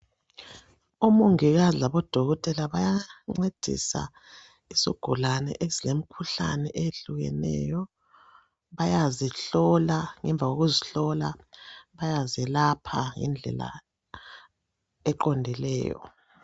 Omongikazi labo dokotela bayancedisa isigulane esilemikhuhlane eyehlukeneyo bayazihlola ngemva kokuzihlola bayazelapha ngendlela eqondileyo.